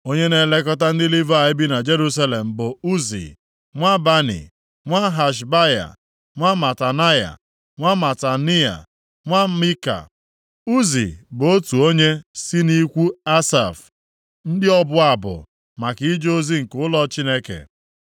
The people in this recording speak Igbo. Onye na-elekọta ndị Livayị bi na Jerusalem bụ Uzi, nwa Bani, nwa Hashabaya, nwa Matanaya, nwa Matanaia, nwa Mika. Uzi bụ otu onye si nʼikwu Asaf, ndị ọbụ abụ maka ije ozi nke ụlọ Chineke.